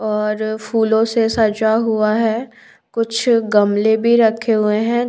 और फूलों से सजा हुआ है कुछ गमले भी रखे हुए है।